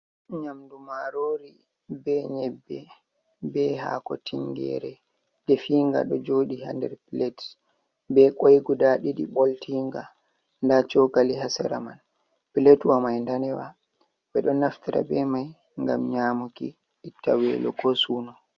Nyamdu marori be nyebbe be hako ,tingere definga do jodi hader plates be kwai guda didi boltinga da chokali hasera man platwa mai danewa be do naftira be mai gam nyamuki ittawelo ko suno.